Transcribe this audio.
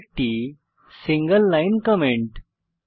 এটি একটি single line comment